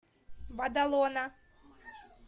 бадалона